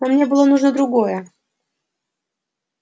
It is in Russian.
но мне было нужно другое